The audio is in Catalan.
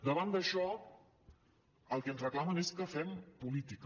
davant d’això el que ens reclamen és que fem política